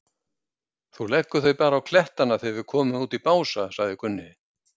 Þú leggur þau bara á klettana þegar við komum út í Bása, sagði Gunni.